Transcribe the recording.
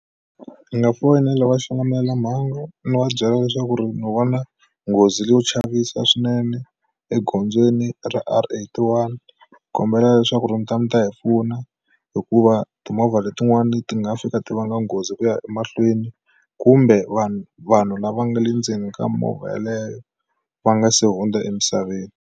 Ndzi nga foyinela va xilamulelamhangu ni va byela leswaku ni vona nghozi yo chavisa swinene egondzweni ra R eighty one kombela leswaku ri mita mi ta hi pfuna hikuva timovha letin'wani ti nga fika ti vanga nghozi ku ya emahlweni kumbe vanhu vanhu lava nga le ndzeni ka movha yaleyo va nga se hundza emisaveni.